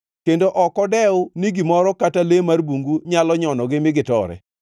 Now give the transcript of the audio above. kendo ok odew ni gimoro kata le mar bungu nyalo nyonogi mi gitore.